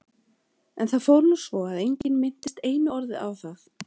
En það fór nú svo að enginn minntist einu orði á það.